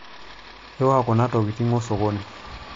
iuwa kuna tokiting' osokoni